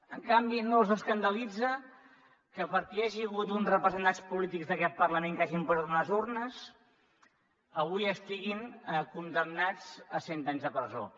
en canvi no s’escandalitza que perquè hi hagi hagut uns representants polítics d’aquest parlament que hagin posat unes urnes avui estiguin condemnats a cent anys de presó